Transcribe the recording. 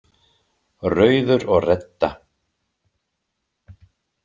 Rauður og Redda,